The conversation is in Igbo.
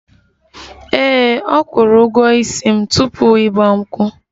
Ee, akwụrụ ụgwọ ísì m tupu igba nkwu